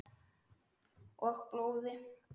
Og blóði.